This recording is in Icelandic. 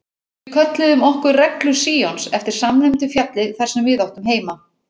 Við kölluðum okkur Reglu Síons eftir samnefndu fjalli þar sem við áttum heima.